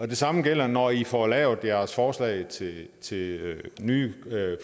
det samme gælder når i får lavet jeres forslag til til nye